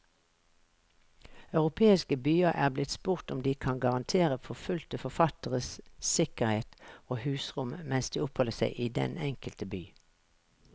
Europeiske byer er blitt spurt om de kan garantere forfulgte forfattere sikkerhet og husrom mens de oppholder seg i den enkelte by.